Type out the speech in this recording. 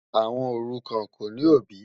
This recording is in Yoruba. Ọmọ orúkán kò ní obì.